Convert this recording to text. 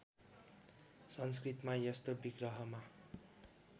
संस्कृतमा यस्तो विग्रहमा